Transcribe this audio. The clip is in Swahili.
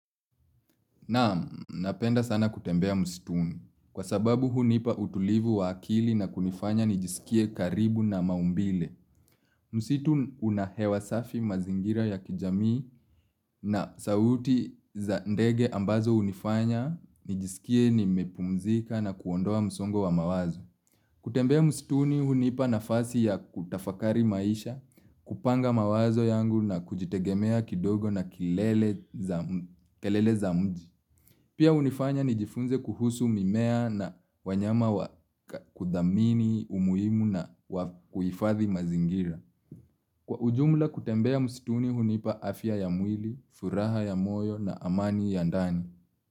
Naam napenda sana kutembea msituni. Kwa sababu hunipa utulivu wa akili na kunifanya nijisikie karibu na maumbile. Msitu unahewa safi mazingira ya kijamii na sauti za ndege ambazo hunifanya, nijisikie nimepumzika na kuondoa msongo wa mawazo. Kutembea mstuni hunipa nafasi ya kutafakari maisha, kupanga mawazo yangu na kujitegemea kidogo na kelele za mji. Pia hunifanya nijifunze kuhusu mimea na wanyama wa kudhamini umuhimu na kuhifathi mazingira. Kwa ujumla kutembea msituni hunipa afya ya mwili, furaha ya moyo na amani ya ndani.